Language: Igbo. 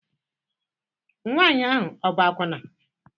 Nwanyị ahụ ọ bụ akwụna?